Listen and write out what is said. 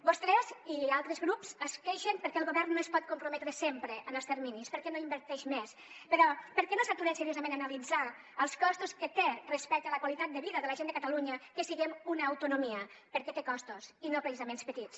vostès i altres grups es queixen perquè el govern no es pot comprometre sempre amb els terminis perquè no inverteix més però per què no s’aturen seriosament a analitzar els costos que té respecte a la qualitat de vida de la gent de catalunya que siguem una autonomia perquè té costos i no precisament petits